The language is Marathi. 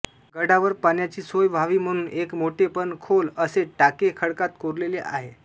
गडावर पाण्याची सोय व्हावी म्हणून एक मोठे पण खोल असे टाके खडकात कोरलेले आहे